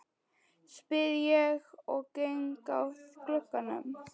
spyr ég og geng að glugganum.